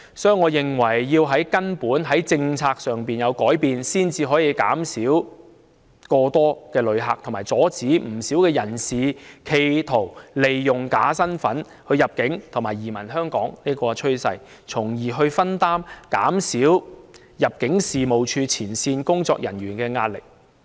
所以，我認為必須從根本、從政策上作出改變，才可以減少旅客過多的情況，以及阻止有人企圖利用假身份入境和移民香港的趨勢，從而分擔及減少入境處前線工作人員的壓力。